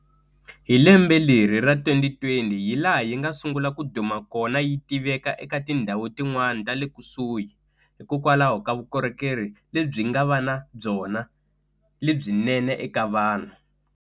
Hi lembe leri ra 2020 hi laha yi nga sungula ku duma kona yi tiveka eka tindhawo tin'wana tale kusuhi hikokwalaho ka vukorhekeri lebyi nga va na byona lebyinene eka vanhu.